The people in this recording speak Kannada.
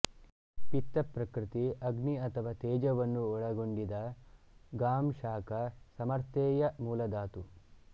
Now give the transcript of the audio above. ಪಿತ್ತ ಪ್ರಕೃತಿ ಅಗ್ನಿ ಅಥವಾ ತೇಜವನ್ನು ಒಳಗೊಂಡಿದ ಗಾಂಶಾಖ ಸಮರ್ಥ್ಯೆಯ ಮೂಲಧಾತು